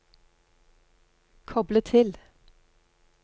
koble til